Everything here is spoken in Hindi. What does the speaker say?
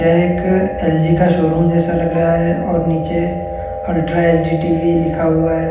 यह एक एल_जी का शोरूम जैसा लग रहा है और नीचे अल्ट्रा एच डी टी_वी लिखा हुआ है।